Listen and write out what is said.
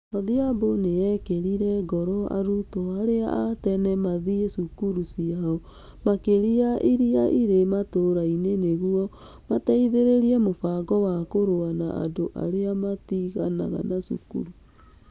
Odhiambo nĩ eekĩrire ngoro arutwo arĩa a tene mathiĩ cukuru ciao, makĩria iria irĩ matũũra-inĩ nĩguo mateithĩrĩrie mũbango wa kũrũa na andũ arĩa matiganaga cukuru.